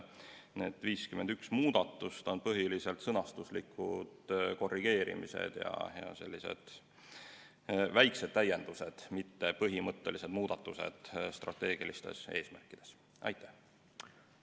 Need 51 muudatust on põhiliselt sõnastuse korrigeerimised ja sellised väikesed täiendused, mitte strateegiliste eesmärkide põhimõttelised muudatused.